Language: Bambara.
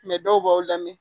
dɔw b'aw lamɛn